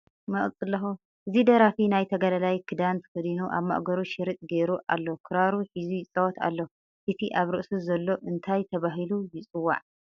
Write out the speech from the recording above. እዚ ደራፊ ናይ ተጋዳላይ ክዳን ተከዲኑ ኣብ ማእገሩ ሽርጥ ጌሩ ኣሎ ክራሩ ሒዙ ይፃወት ኣሎ እቲ ኣብ ርእሱ ዘሎ እንታይ ተባሂሉ ይፅዋዕ?